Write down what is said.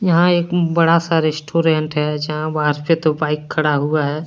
यहां एक बड़ा सा रेस्टोरेंट है जहां बाहर से दो बाइक खड़ा हुआ है।